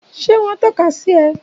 Ṣé wọ́n tọ́ka sí ẹ?